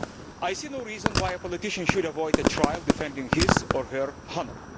I see no reason why a politician should avoid a trial defending his or her honour.